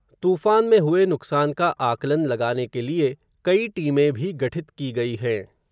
तूफ़ान में हुए नुक़सान का आकलन लगाने के लिए, कई टीमें भी गठित की गई हैं.